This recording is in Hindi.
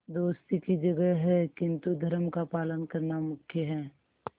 दोस्ती की जगह है किंतु धर्म का पालन करना मुख्य है